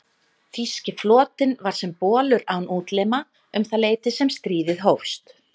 Þýski flotinn var sem bolur án útlima um það leyti sem stríðið hófst.